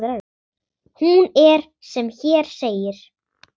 Hún er sem hér segir